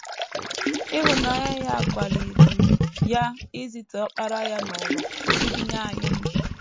Ịhụnanya ya kwaliri ya izite Ọkpara ya n’ụwa iji nye anyị ndụ.